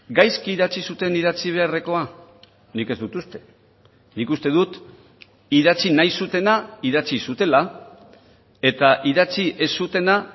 gaizki idatzi zuten idatzi beharrekoa nik ez dut uste nik uste dut idatzi nahi zutena idatzi zutela eta idatzi ez zutena